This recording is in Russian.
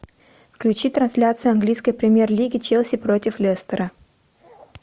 включи трансляцию английской премьер лиги челси против лестера